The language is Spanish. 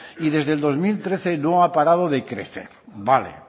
y desde dos mil trece no ha parado de crecer vale